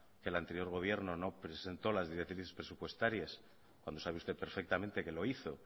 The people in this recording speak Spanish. que el anterior gobierno no presentó las directrices presupuestarias cuando sabe usted perfectamente que lo hizo